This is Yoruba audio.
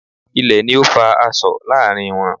Ilè ni o fa asọ̀ láàrin wọn